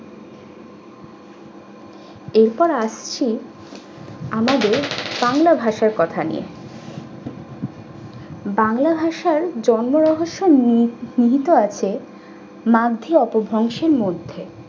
এবার আসছি আমাদের বাংলা ভাষার কথা নিয়ে। বাংলা ভাষায় জন্ম রহস্য নি~ নিহিত আছে মার্জিয়া তো ধ্বংসের মধ্যে।